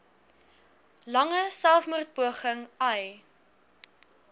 lange selfmoordpoging ai